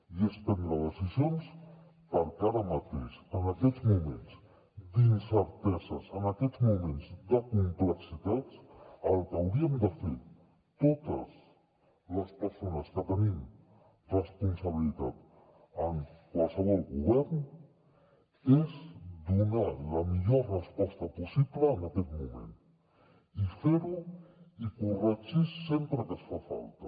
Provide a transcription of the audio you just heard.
i és prendre decisions perquè ara mateix en aquests moments d’incerteses en aquests moments de complexitats el que hauríem de fer totes les persones que tenim responsabilitats en qualsevol govern és donar la millor resposta possible en aquest moment i fer ho i corregir sempre que fa falta